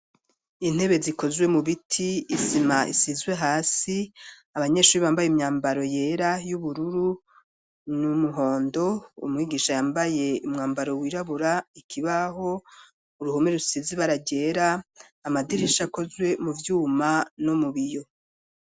Intebe zikozwe mu biti, isima isizwe hasi, abanyeshuri bambaye imyambaro yera ,y'ubururu ,n'umuhondo ,umwigisha yambaye Umwambaro wirabura, ikibaho ,,uruhume rusizi bara ryera, amadirisha akozwe mu Vyuma no mu biyo.